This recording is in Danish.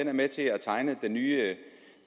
er med til at tegne den nye